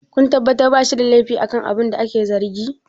kun tabbatar ba shi da laifi akan abina ake zargi!